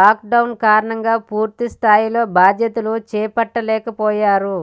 lockdown కారణంగా పూర్తి స్థాయిలో బాధ్యతలు చేపట్టలేకపోయారు